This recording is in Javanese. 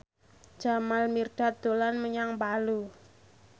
Jamal Mirdad dolan menyang Palu